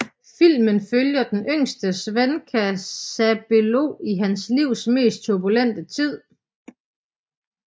Filmen følger den yngste swenka Sabelo i hans livs mest turbulente tid